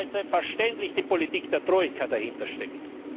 Weil selbstverständlich die Politik der Troika dahintersteckt.